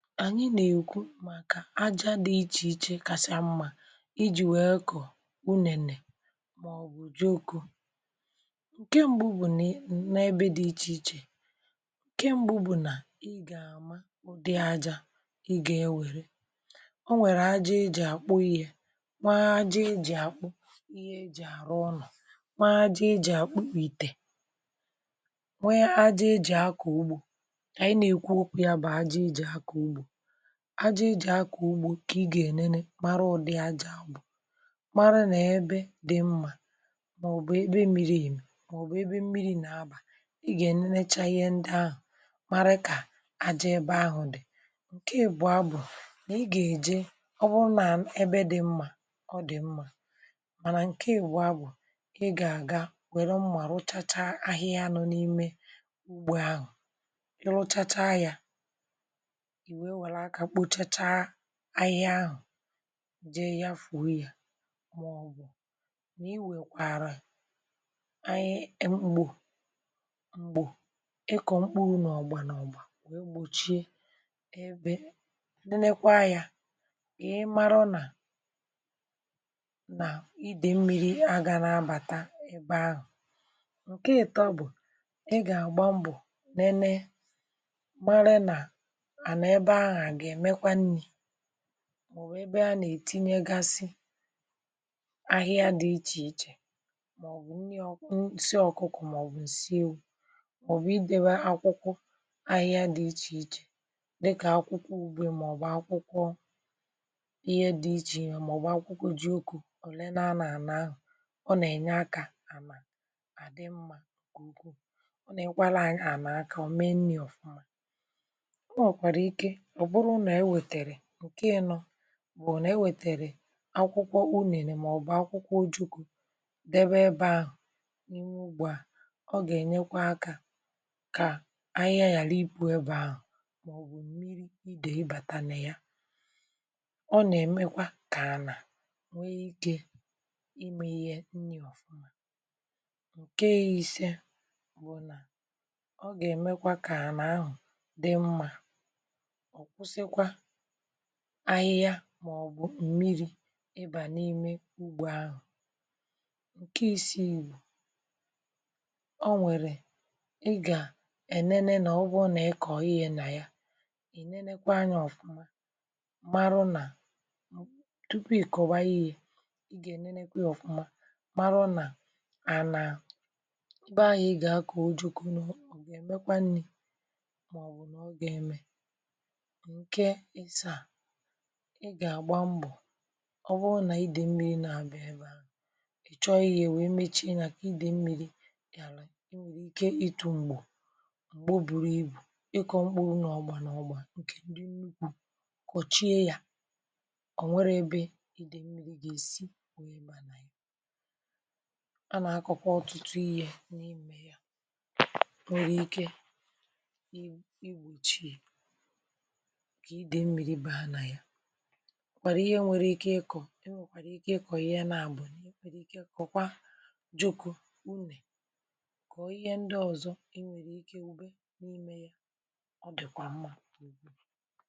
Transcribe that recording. Ànyị nà-èkwu màkà aja dị ichè ichè kàsà mmȧ iji̇ nwèe ekọ̀ ukwu nènè màọbụ̀ juju um ǹke m̀gbụ bụ̀ nà n’ebe dị ichè ichè ǹke m̀gbụ bụ̀ nà ị gà-àma ụdị ajȧ ọ nwèrè aja eji àkpụ yȧ nwa aja eji àkpụ ihe eji àrụ ọnụ̇ um nwa aja eji àkpụpìtè nwe aja eji akọ̀ ugbȯ Ànyị nà-èkwu ọkụ yȧ bụ̀ ajaijì akụ̀ ugbò kà ị gà-enene mara ụ̀dị aja bụ̀ mara nà ebe dị mmȧ màọ̀bụ̀ ebe miri um màọ̀bụ̀ ebe mmiri nà abà. Ị gà-enenechȧ ihe ndị ahụ̀ mara kà aja ebe ahụ̀ dị ǹke ìbụ̀a bụ̀ nà ị gà-èje ọ bụrụ nà ebe dị mmȧ ọ dị̀ mmȧ mànà ǹke ìbụ̀a bụ̀ ị gà-àga nwèrè mmȧ rụchacha ahịhịa nọ n’ime ugbȯ ahụ̀.Ị rụchacha ya ahịa ahụ̀ jee ya fụ̀rụ yȧ màọbụ̀ nà iwèkwàrà ahịa èm̀gbò m̀gbò ịkọ̀ mkpụrụ̇ n’ọ̀gbà n’ọ̀gbà wee gbòchie ebe nenekwa yȧ ị marọ nà nà idèmmi̇ri aga n’abàta ebe ahụ̀. Ǹkè èto bụ̀ ị gà àgba mbọ̀ nene màọ̀bụ̀ ebe a nà-ètinye gasị ahịa dị ichè ichè um màọ̀bụ̀ nni ọ̀kụ nsị ọ̀kụkọ̀ màọ̀bụ̀ nsị ewu̇ màọ̀bụ̀ idewe akwụkwọ ahịa dị ichè ichè dịkà akwụkwọ ugbe màọ̀bụ̀ akwụkwọ ihe dị ichè yà màọ̀bụ̀ akwụkwọ ji oku̇ òle na-anà ànà ahụ̀. Ọ nà-ènye akȧ ànà àdị mmȧ, ǹkù ọ nà-ekwara ànà akȧ o mee nni̇ ọ̀fụma. Ǹkè nọ bụ̀ nà e wètèrè akwụkwọ unùèlè màọbụ̀ akwụkwọ ojuku̇ debe ebė ahụ̀ n’ime ugbua ọ gà-ènyekwa akȧ kà ahịhịa yà na iku̇ ebe ahụ̀ màọbụ̀ mmiri idè ibàtànà ya. Ọ nà-èmekwa kà ànà nwee ikė imė ihe nni ọ̀fụma. Ǹkè ihe ìse bụ̀ nà ọ gà-èmekwa kà ànà ahụ̀ dị mmȧ ahịhịa um maọ̀bụ̀ mmiri̇ ịbà n’ime ugbo ahụ̀.Ǹkè isi̇ ìrù ọ nwèrè ị gà enene nà ụgwọ nà-ịkọ̀ ihe nà ya è nenekwa anyȧ ọ̀fụma mara nà tupu ị̀kọwa ihe ị gà-enenekwe ọ̀fụma mara nà ànà ebe anyị̇ ị gà-akọ̀ ojukunù bụ̀ èmekwanù maọ̀bụ̀ nà ọ gà-eme. Ị gà-àgba mbọ̀ ọ bụrụ nà idè mmiri nà abịa ya chọọ ihė wee mechaa nà idè mmiri gà àlà, um ị nwèrè ike itu m̀gbè m̀gbo buru ibù ị kọọ mkpụrụ n’ọgbȧ n’ọgbȧ. Ǹkè ndị mmiri kọ̀chie ya ọ̀ nwere ebe idè mmiri gà èsi onye mànà ya. A nà-àkọkwa ọ̀tụtụ ihė n’imė ya, nwèrè ike kwàrà ihe nwere ike ịkọ̀ um e nwèkwàrà ike ịkọ̀ ya nà bụ̀ n’ekwèrè ike kọ̀kwa jukù unè kọ̀ọ ihe ndị ọ̀zọ. E nwèrè ike ùbe n’ime ya ọ dị̀ kwà mmȧ.